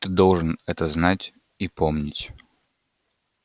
ты должен это знать и помнить